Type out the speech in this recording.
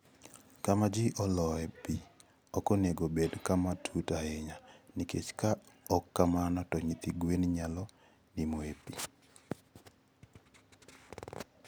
Kama ji oloe pi ok onego obed kama tut ahinya, nikech ka ok kamano to nyithi gweno nyalo nimo e pi.